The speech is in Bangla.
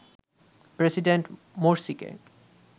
প্রেসিডেন্ট মোরসিকে